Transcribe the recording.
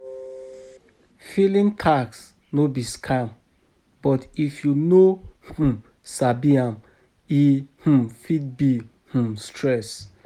Filing tax no be scam but if you no um sabi am, e um fit be um stress.